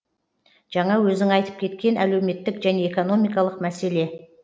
жаңа өзің айтып кеткен әлеуметтік және экономикалық мәселе